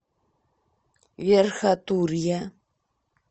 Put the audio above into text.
верхотурья